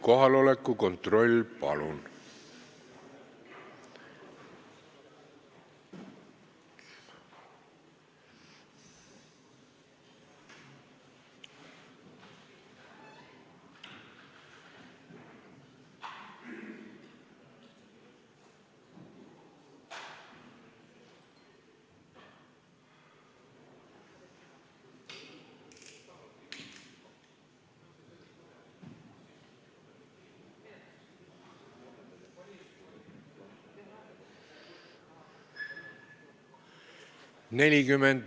Kohaloleku kontroll, palun!